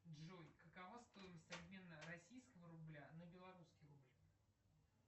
джой какова стоимость обмена российского рубля на белорусский рубль